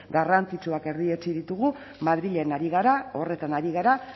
garrantzitsuak erdietsi ditugu madrilen ari gara horretan ari gara